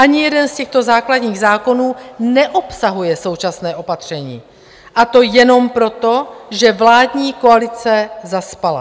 Ani jeden z těchto základních zákonů neobsahuje současné opatření, a to jenom proto, že vládní koalice zaspala.